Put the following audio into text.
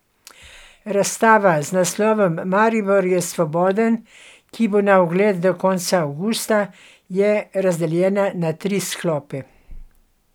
Razstava z naslovom Maribor je svoboden, ki bo na ogled do konca avgusta, je razdeljena na tri sklope.